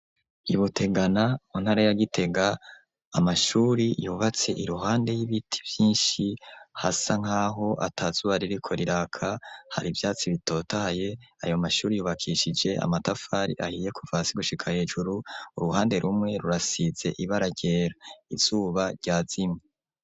I Butegana mu ntara ya Gitega, amashuri yubatse iruhande y'ibiti vyinshi hasa nk'aho ata zuba ririko riraka, har'ivyatsi bitotahaye. Ayo mashuri yubakishije amatafari ahiye kuva hasi gushika hejuru. Uruhande rumwe rurasize ibara ryera. Izuba ryazimye.